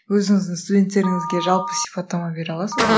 өзіңіздің студенттеріңізге жалпы сипаттама бере аласыз ба